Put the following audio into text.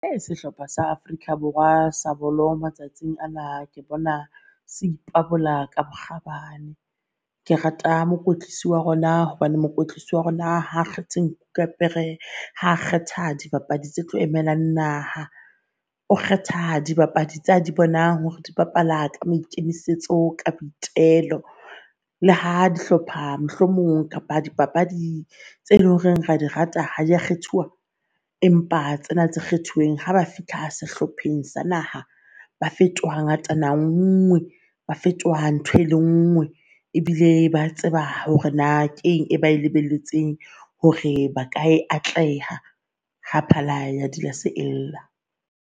Uh sehlopha sa Afrika Borwa sa bolo matsatsing ana, ke bona se ipabola ka bokgabane. Ke rata mokwetlisi wa rona, hobane mokwetlisi wa rona ha kgethe nku ka pere ha kgetha dibapadi tse tlo emelang naha. O kgetha dibapadi tsa di bonang hore di bapala ka maikemisetso ka boitelo. Le ha di hlopha mohlomong kapa dipapadi tse leng horeng ra di rata ha di a kgethuwa, empa tsena tse kgethuweng haba fihla sehlopheng sa naha ba fetoha ngatana, ngwe ba fetoha ntho e le ngwe ebile ba tseba hore na keng e lebeletseng hore ba ka e atleha ha phala ya dilase e lla.